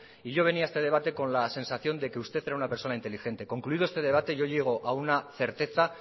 y yo venía a este debate con la sensación de que usted era una persona inteligente concluido este debate yo llego a una certeza